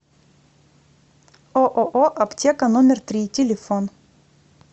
ооо аптека номер три телефон